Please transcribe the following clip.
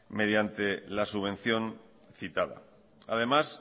mediante la subvención citada además